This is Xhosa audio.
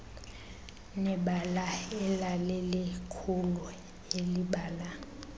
nebala elalilikhulu elibala